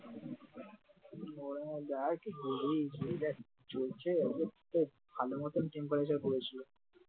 ভালো মতন temperature পড়েছিল ।